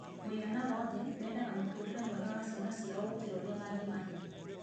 Mũigana wothe, mendaga mũtũrĩre mwega wa ciana ciao ngũkĩra ũrĩa mangĩmahe.